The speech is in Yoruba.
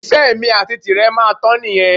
Ìfẹ́ èmi àti tirẹ̀ máa tán nìyẹn